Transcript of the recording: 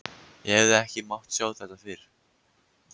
En hefði ekki mátt sjá þetta fyrir?